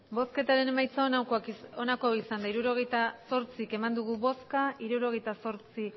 hirurogeita zortzi eman dugu bozka hirurogeita zortzi